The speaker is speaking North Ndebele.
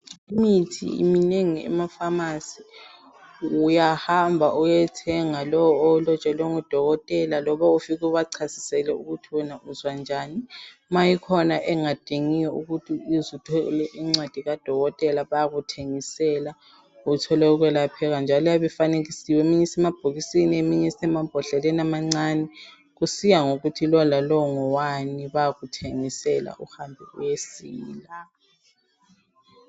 Imithi minengi emafamasi. Uyahamba uyethenga lowo owulotshelwe nguDokotela loba ufike ubachasisele ukuthi uzwanjani. Ma ikhona engadingi ukuthi uthole incwadi kaDokotela bayakuthengisela uthole ukwelapheka. Iyabe ifanekisiwe eminye isemabhokisini eminye isemambodleleni amancane kusiya ngokuthi ngowani bayakuthengisela uthole ukusila.